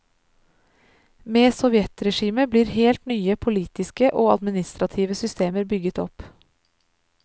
Med sovjetregimet blir helt nye politiske og administrative systemer bygget opp.